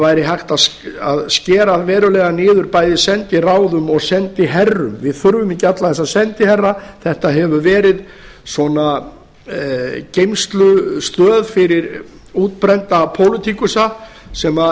væri hægt að skera verulega niður bæði í sendiráðum og sendiherrum við þurfum ekki alla þessa sendiherra þetta hefur verið svona geymslustöð fyrir útbrunna pólitíkusa sem